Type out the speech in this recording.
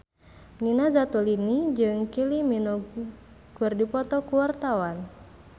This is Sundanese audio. Nina Zatulini jeung Kylie Minogue keur dipoto ku wartawan